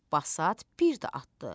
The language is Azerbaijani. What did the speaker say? Basat bir də atdı.